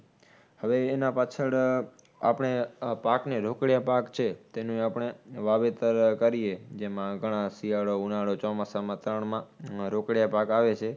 હવે એના પાછળ આપણે આહ પાકને, રોકડીયા પાક છે. તેનું આપણે વાવેતર કરીએ. જેમાં ઘણાં શિયાળો, ઉનાળો, ચોમાસામાં ત્રણમાં અમ રોકડીયા પાક આવે છે.